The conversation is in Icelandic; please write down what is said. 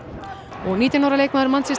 og nítján ára leikmaður